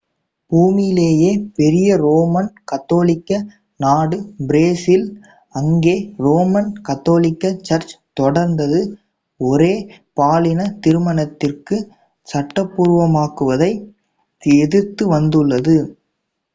பூமியிலேயே பெரிய ரோமன் கத்தோலிக்க நாடு பிரேசில் அங்கே ரோமன் கத்தோலிக்க சர்ச் தொடர்ந்து ஒரே பாலின திருமணத்தைச் சட்டபூர்வமாக்குவதை எதிர்த்து வந்துள்ளது